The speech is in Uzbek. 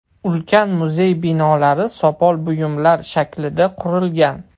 Ulkan muzey binolari sopol buyumlar shaklida qurilgan.